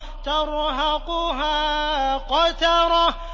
تَرْهَقُهَا قَتَرَةٌ